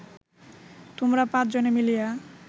তোমরা পাঁচ জনে মিলিয়া